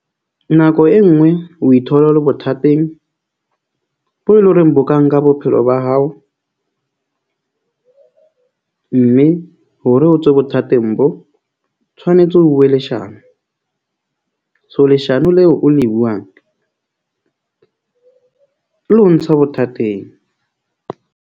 Nako e nngwe o ithola o le bothateng bo eleng horeng bo ka nka bophelo ba hao. Mme hore o tswe bothateng bo tshwanetse o bue leshano so leshano leo o le buang le ho ntsha bothateng.